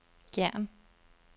Gjern